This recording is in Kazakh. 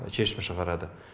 шешім шығарады